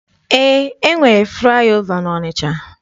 Eé, e nwere flaị ova n'Ọnịcha.